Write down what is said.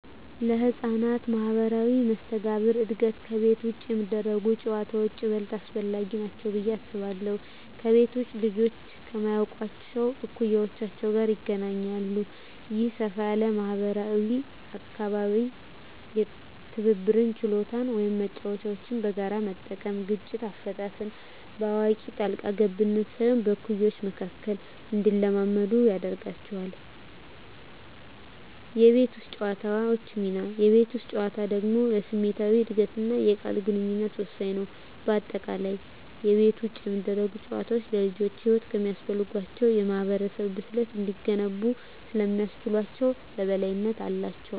ለሕፃናት ማኅበራዊ መስተጋብር እድገት ከቤት ውጭ የሚደረጉ ጨዋታዎች ይበልጥ አስፈላጊ ናቸው ብዬ አስባለሁ። ከቤት ውጭ ልጆች ከማያውቋቸው እኩዮች ጋር ይገናኛሉ። ይህ ሰፋ ያለ ማኅበራዊ አካባቢ የትብብር ችሎታን (መጫወቻዎችን በጋራ መጠቀም) እና ግጭት አፈታትን (በአዋቂ ጣልቃ ገብነት ሳይሆን በእኩዮች መካከል) እንዲለማመዱ ያደርጋቸዋል። የቤት ውስጥ ጨዋታዎች ሚና: የቤት ውስጥ ጨዋታዎች ደግሞ ለስሜታዊ እድገትና የቃል ግንኙነት ወሳኝ ናቸው። በአጠቃላይ፣ ከቤት ውጭ የሚደረጉ ጨዋታዎች ልጆች ለሕይወት የሚያስፈልጋቸውን የማኅበራዊ ብስለት እንዲገነቡ ስለሚያስችላቸው የበላይነት አላቸው።